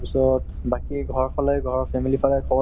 উম ঘৰতে আছে। এই চাহ খাই আছো।